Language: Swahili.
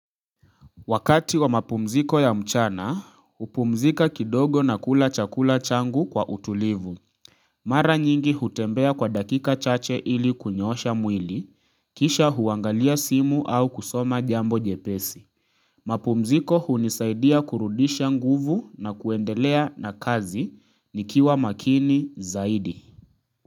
Wakati wa mapumziko ya mchana upumzika kidogo na kula chakula changu kwa utulivu Mara nyingi hutembea kwa dakika chache ili kunyoosha mwili kisha huangalia simu au kusoma jambo jepesi mapumziko hunisaidia kurudisha nguvu na kuendelea na kazi nikiwa makini zaidi.